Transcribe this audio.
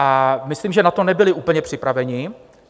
A myslím, že na to nebyli úplně připravení.